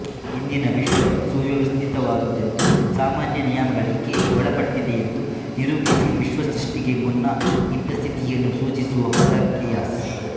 ಇಂದಿನ ವಿಶ್ವ ಸುವ್ಯವಸ್ಥಿತವಾದುದೆಂದೂ ಸಾಮಾನ್ಯ ನಿಯಮಗಳಿಗೆ ಒಳಪಟ್ಟಿದೆಯೆಂದೂ ನಿರೂಪಿಸಿ ವಿಶ್ವಸೃಷ್ಟಿಗೆ ಮುನ್ನ ಇದ್ದ ಸ್ಥಿತಿಯನ್ನು ಸೂಚಿಸುವ ಪದ ಕೇಯಾಸ್